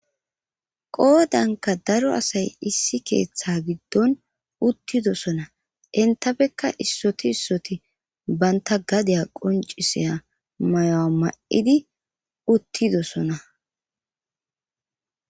qoodanka daro asay issi keeththa giddon uttidosona intafekka issoti issoti banta gadeya qonciseya mayoa ma7idi uttidosona